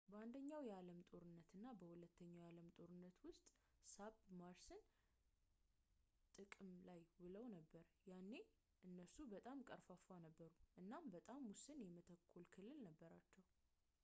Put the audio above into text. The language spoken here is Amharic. በአንደኛው የዓለም ጦርነት እና በሁለተኛው የዓለም ጦርነት ውስጥ ሳብማርንስ ጥቅም ላይ ውለው ነበር ያኔ እነሱ በጣም ቀርፋፋ ነበሩ እና በጣም ውስን የመተኮሻ ክልል ነበራቸው